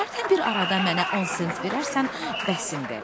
Hərdən bir arada mənə 10 sent verərsən, bəsimdir.